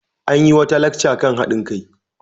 An yi wata lacca kan haɗin kai.